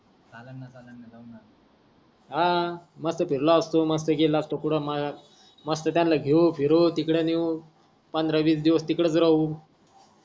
हा मस्त फिरला असतो मस्त गेला असतो कुट मंग मस्त त्याना घेऊ फिरू तिकडे नेऊ पंधरा वीस दिवस तिकडच राहू